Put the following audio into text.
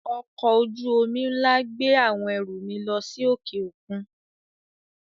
Ọkọ̀-ojú omi ńlá gbé àwọn ẹrù mi lọ sí òkè-òkun.